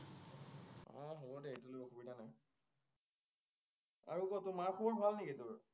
আৰু কোৱা mark বোৰ ভাল নেকি তোৰ?